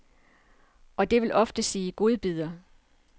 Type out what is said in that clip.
Og det vil ofte sige godbidder.